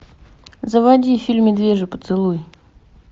заводи фильм медвежий поцелуй